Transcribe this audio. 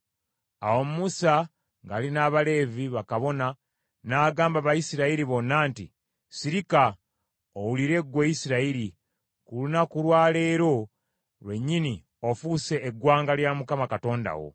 Awo Musa ng’ali n’Abaleevi, bakabona, n’agamba Abayisirayiri bonna nti, “Sirika owulire ggwe Isirayiri! Ku lunaku lwa leero lwennyini ofuuse eggwanga lya Mukama Katonda wo.